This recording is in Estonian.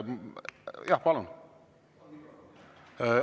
Jah, palun!